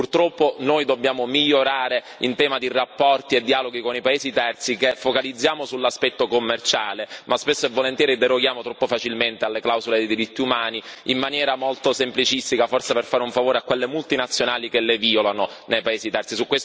Purtroppo noi dobbiamo migliorare in tema di rapporti e dialoghi con i paesi terzi, che focalizziamo sull'aspetto commerciale ma spesso e volentieri deroghiamo troppo facilmente alle clausole sui diritti umani, in maniera molto semplicistica, forse per fare un favore a quelle multinazionali che le violano nei paesi terzi.